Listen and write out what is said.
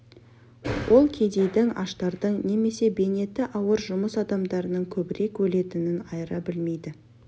ол кедейдің аштардың немесе бейнеті ауыр жұмыс адамдарының көбірек өлетінін айыра білмейді